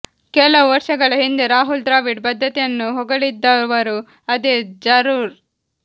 ಕೆಲವು ವರ್ಷಗಳ ಹಿಂದೆ ರಾಹುಲ್ ದ್ರಾವಿಡ್ ಬದ್ಧತೆಯನ್ನು ಹೊಗಳಿದ್ದವರೂ ಅದೇ ಜರ್ರೋದ್